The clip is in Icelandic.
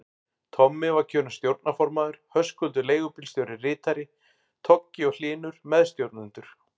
Tommi var kjörinn stjórnarformaður, Höskuldur leigubílstjóri ritari, Toggi og Hlynur meðstjórnendur.